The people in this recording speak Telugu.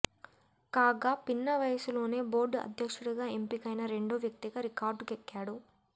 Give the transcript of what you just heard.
కాగా పిన్న వయసులోనే బోర్డు అధ్యక్షుడిగా ఎంపికైన రెండో వ్యక్తిగా రికార్డుకెక్కాడు